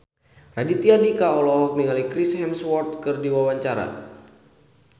Raditya Dika olohok ningali Chris Hemsworth keur diwawancara